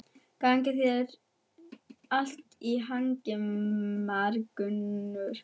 Gangi þér allt í haginn, Margunnur.